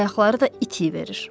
Ayaqları da itiyə verir.